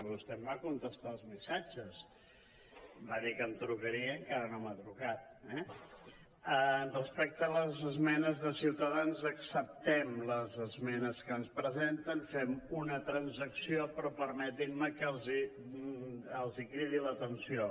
vostè em va contestar els missatges em va dir que em trucaria i encara no m’ha trucat eh respecte a les esmenes de ciutadans acceptem les esmenes que ens presenten fem una transacció però permetin·me que els cridi l’atenció